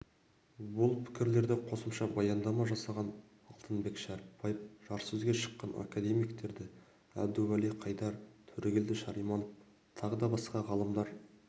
бұл пікірлерді қосымша баяндама жасаған алтынбек шәріпбаев жарыссөзге шыққан академиктері әбдуәли қайдар төрегелді шарманов тағы да басқа ғалымдар